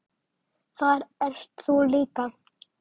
Þar ert þú líka.